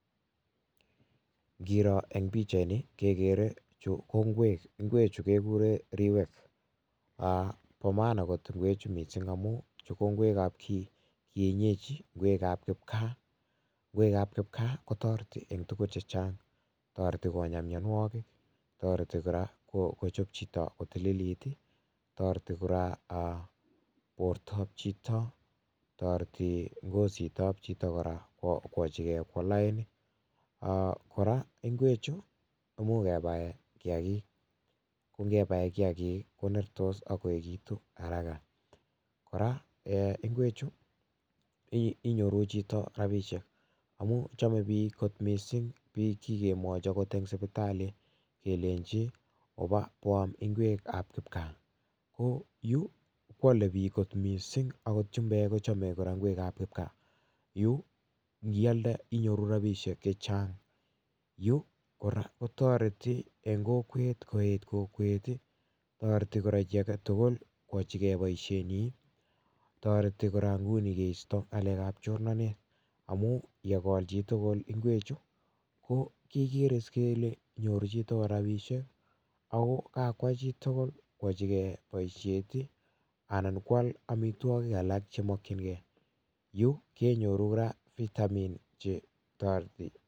Ngiro eng' pichait ni, kekere chu ko ngwek. Ngwek chu, kekure riwek. um Bo maana kot ngwek chu missing, amu chu ko ngwekab kienyeji, ngwekab kipkaa. Ngwekab kipkaa kotoreti eng' tugun chechang'. Toreti konyaa myanwogik, toreti kora kochop chito kotililit, toreti kora um bortob chito. Toreti ngositab chito kora kwachike kwo lain. um Kora, ngwek chu, imuch kebae kiyagik. Ko ngebae kiyagik, konertos, akoegitu haraka. Kora, um ngwek chu, inyoru chito rabisiek, amu chome biik kot missing, biik kikemwochi angot eng' sipitali, kelenji oba boam ngwekab kipkaa. Ko yu, kwale biik kot missing angot chumbek kochame kora ngwekab kipkaa. Yu, ngialde, inyoru rabisiek chechang'. Yu kora kotoreti eng' kokwet koet kokwet. Toreti kora chi age tugul, kwachikei boisiet nyi. Toreti kora nguni keisto ngalekab chornanet, amu yegol chitugul ngwek chu, ko kekere is kele nyoru chitugul rabisiek. Ago kakwai chitugul kwachike boisiet, anan kwal amitwogik alak che makchinkei. Yu kenyoru kora vitamin che toreti.